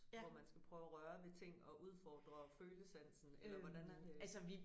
Hvor man prøve at røre ved ting og udfordre følesansen eller hvordan er det?